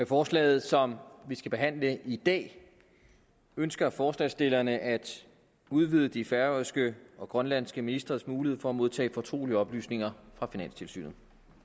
forslaget som vi skal behandle i dag ønsker forslagsstillerne at udvide de færøske og grønlandske ministres mulighed for at modtage fortrolige oplysninger fra finanstilsynet